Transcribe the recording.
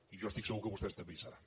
i jo estic segur que vostès també hi seran